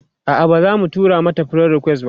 a'a bazamu tura mata friend request ba